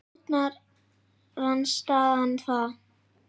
Gerði stjórnarandstaðan það?